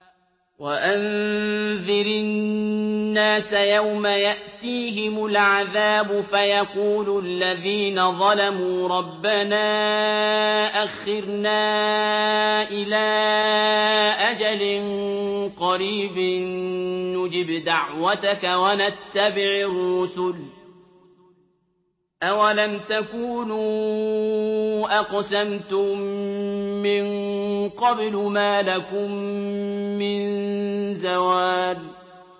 وَأَنذِرِ النَّاسَ يَوْمَ يَأْتِيهِمُ الْعَذَابُ فَيَقُولُ الَّذِينَ ظَلَمُوا رَبَّنَا أَخِّرْنَا إِلَىٰ أَجَلٍ قَرِيبٍ نُّجِبْ دَعْوَتَكَ وَنَتَّبِعِ الرُّسُلَ ۗ أَوَلَمْ تَكُونُوا أَقْسَمْتُم مِّن قَبْلُ مَا لَكُم مِّن زَوَالٍ